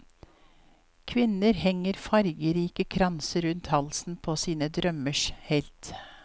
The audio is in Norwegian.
Kvinner henger fargerike kranser rundt halsen på sine drømmers helt.